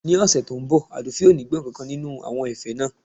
Ní ọ̀sẹ̀ tí ó ń bọ̀ Àdùfẹ̀ ò ní gbọ́ nkankan nínú àwọn ẹ̀fẹ̀ rẹ